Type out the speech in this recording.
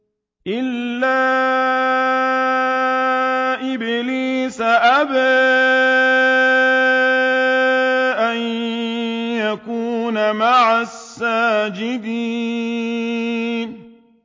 إِلَّا إِبْلِيسَ أَبَىٰ أَن يَكُونَ مَعَ السَّاجِدِينَ